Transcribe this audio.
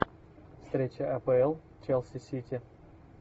встреча апл челси сити